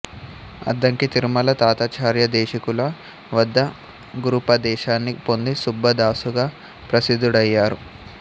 అద్దంకి తిరుమల తాతాచార్యదేశికుల వద్ద గురూపదేశాన్ని పొంది సుబ్బదాసుగా ప్రసిదుడయ్యారు